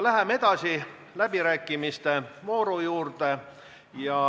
Läheme edasi läbirääkimiste vooru juurde.